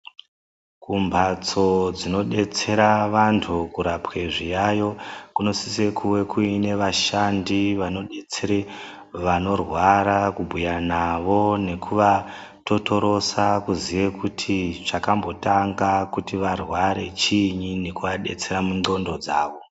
Kumbatso dzinodetsera vantu kurapwe zviyayo kunosise kuve kuine vashandi vanodetsere vanorwara kubhuya navo nekuvatotorosa kuziye kuti zvakambotanga kuti varware chiinyi nekuvadetsera mundxondo dzavo.